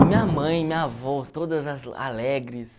E minha mãe, minha avó, todas alegres.